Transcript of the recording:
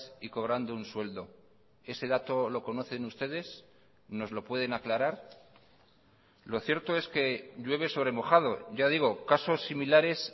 y cobrando un sueldo ese dato lo conocen ustedes nos lo pueden aclarar lo cierto es que llueve sobre mojado ya digo casos similares